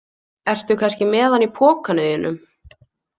Ertu kannski með hann í pokanum þínum?